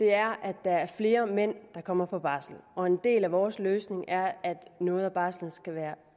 er at der er flere mænd der kommer på barsel og en del af vores løsning er at noget af barslen skal være